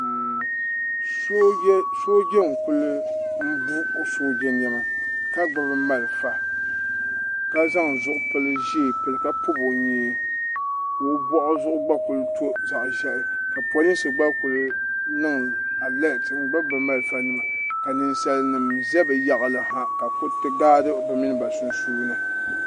Sooja n kuli bu o sooja nɛma ka gbubi malifa ka zaŋ zuɣupili ʒee pili ka pɔbi o nyee ka o bɔɣu zuɣu gba kuli to zaɣa ʒiɛhi ka polinsi gba ku niŋ alɛt n gbubi bi malifa nima ka ninsali nim za bi yaɣali ha kuriti gaadi bi mini ba sunsuuni.